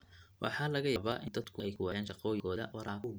Waxaa laga yaabaa in dadku ay ku waayaan shaqooyinkooda waraabka awgeed.